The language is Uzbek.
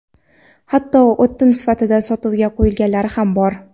hatto o‘tin sifatida sotuvga qo‘yilganlari ham bor.